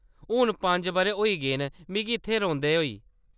हून पंज बʼरें होई गे न मिगी इत्थै रौंह्‌‌‌दे होई।